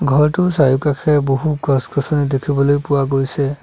ঘৰটোৰ চাৰিওকাষে বহুতো গছ গছনি দেখিবলৈ পোৱা গৈছে।